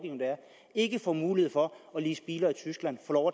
ikke får mulighed for at lease biler i tyskland og